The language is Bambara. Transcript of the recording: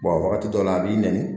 wagati dɔ la a b'i nɛni